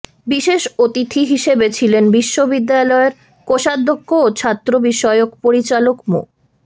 বিশেষ অতিথি হিসেবে ছিলেন বিশ্ববিদ্যালয়ের কোষাধ্যক্ষ ও ছাত্রবিষয়ক পরিচালক মো